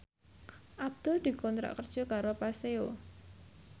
Abdul dikontrak kerja karo Paseo